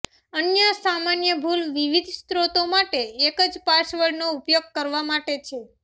અન્ય સામાન્ય ભૂલ વિવિધ સ્ત્રોતો માટે એક જ પાસવર્ડનો ઉપયોગ કરવા માટે છે